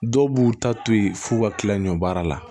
Dɔw b'u ta to yen f'u ka kila ɲɔ baara la